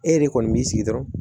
E yɛrɛ de kɔni b'i sigi dɔrɔn